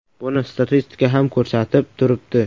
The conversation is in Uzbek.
Buni statistika ham ko‘rsatib turibdi.